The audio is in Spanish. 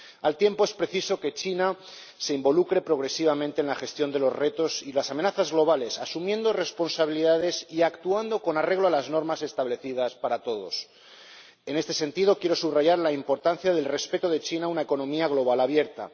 Al tiempo, es preciso que China se involucre progresivamente en la gestión de los retos y las amenazas globales asumiendo responsabilidades y actuando con arreglo a las normas establecidas para todos. En este sentido, quiero subrayar la importancia del respeto de China a una economía global abierta.